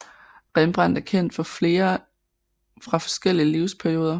Rembrandt er kendt for flere fra forskellige livsperioder